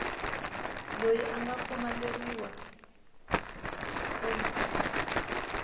loyi a nga pfumeleriwa ku